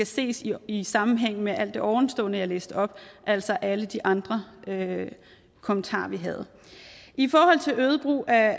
ses i i sammenhæng med alt det ovenstående jeg læste op altså alle de andre kommentarer vi havde i forhold til øget brug af